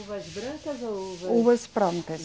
Uvas brancas ou uvas. Uvas brancas.